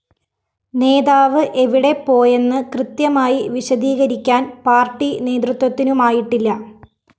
നേതാവ് എവിടെ പോയെന്ന് കൃത്യമായി വിശദീകരിക്കാന്‍ പാര്‍ട്ടി നേതൃത്വത്തിനുമായിട്ടില്ല